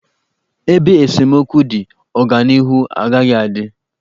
Ebe esemokwu dị, ọganịhu agaghị adị.